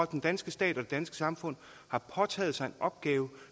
den danske stat og det danske samfund har påtaget sig en opgave